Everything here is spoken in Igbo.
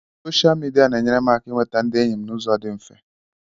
Soshal midia na-enyere m aka inweta ndị enyi m n'ụzọ dị mfe.